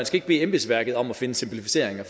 skal bede embedsværket om at finde simplificeringer